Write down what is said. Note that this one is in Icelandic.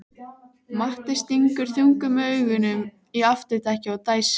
Matti stingur þungum augunum í afturdekkið og dæsir.